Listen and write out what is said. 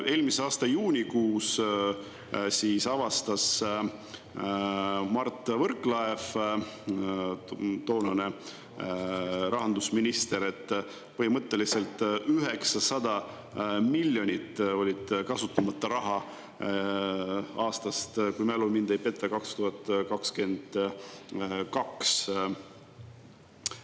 Eelmise aasta juunikuus avastas Mart Võrklaev, toonane rahandusminister, et põhimõtteliselt 900 miljonit oli kasutamata raha aastast – kui mälu mind ei peta – 2022.